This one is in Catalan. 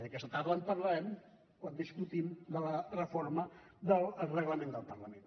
i aquesta tarda en parlarem quan discutirem de la reforma del reglament del parlament